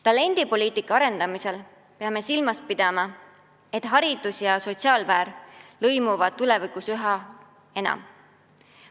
Talendipoliitika arendamisel peame silmas pidama, et haridus ja sotsiaalsfäär lõimuvad tulevikus üha enam.